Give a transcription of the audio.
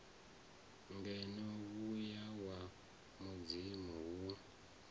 ngeno muya wa mudzimu wo